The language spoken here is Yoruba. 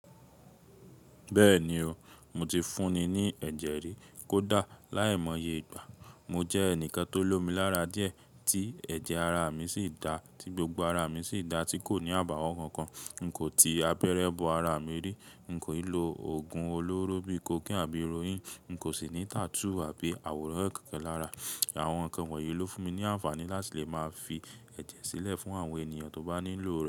Bẹ́ẹ̀ni o, mo ti fúnni ní ẹ̀jẹ̀ rí. Kódà láìmọye ìgbà, mo jẹ́ ẹnìkan tó lomi lára díẹ̀ tí ẹ̀jẹ̀ ara mi sì dá, tí gbogbo ara mi sì dá tí kò ní àbàwọ̀n kankan. Nko tí àpẹrẹ bọ ara mi n kò ì lo òògùn olóró bíi cocaine àbí heroin. N kò sì ní tattoo àbí àwòrán kankan lara. Àwọn nǹkan wọ̀nyí ló fún mi ní àǹfààní láti lè máa fi ẹ̀jẹ̀ sílẹ̀ fún àwọn ènìyàn tó bá nílò rẹ̀